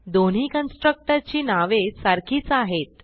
दोन्ही कन्स्ट्रक्टर ची नावे सारखीच आहेत